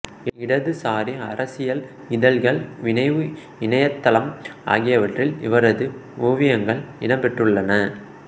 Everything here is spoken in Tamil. இடதுசாரி அரசியல் இதழ்கள் வினவு இணையதளம் ஆகியவற்றில் இவரது ஓவியங்கள் இடம்பெற்றுள்ளன